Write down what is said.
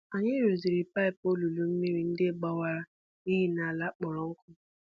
Anyị rụziri paịp olulu mmiri ndị gbawara n’ihi ala kpọrọ nkụ.